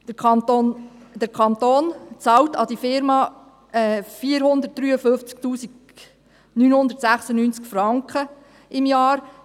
Der Kanton zahlt dieser Unternehmung 453 996 Franken pro Jahr.